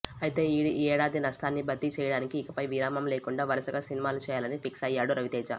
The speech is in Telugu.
ఐతే ఈ ఏడాది నష్టాన్ని భర్తీ చేయడానికి ఇకపై విరామం లేకుండా వరుసగా సినిమాలు చేయాలని ఫిక్సయ్యాడు రవితేజ